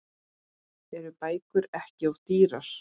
Eru bækur ekki of dýrar?